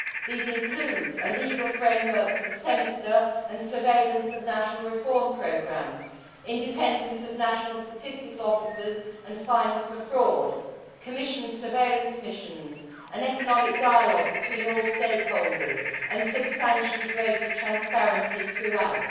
These include a legal framework for the Semester and surveillance of national reform programmes, independence of national statistical offices and fines for fraud, Commission surveillance missions, an economic dialogue between all stakeholders, and substantially greater transparency throughout.